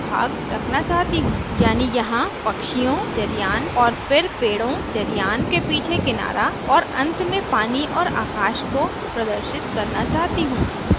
यानी यहाँ पक्षियों जलयान और फिर पेड़ों जलयान के पीछे किनारा और अंत में पानी और आकाश को प्रदर्शित करना चाहती हूँ